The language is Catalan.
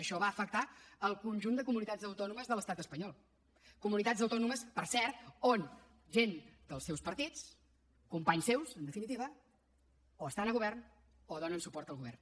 això va afectar el conjunt de comunitats autònomes de l’estat espanyol comunitats autònomes per cert on gent dels seus partits companys seus en definitiva o estan al govern o donen suport al govern